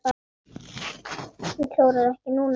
Hann klórar ekki núna.